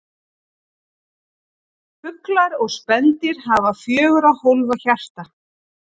Fuglar og spendýr hafa fjögurra hólfa hjarta.